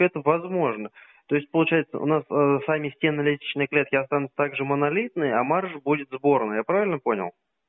это возможно то есть получается у нас сами стены лестничной клетки останутся также монолитные а марш будет сборный я правильно понял